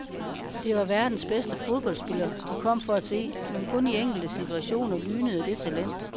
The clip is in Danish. Det var verdens bedste fodboldspiller, de kom for at se, men kun i enkelte situationer lynede det talent.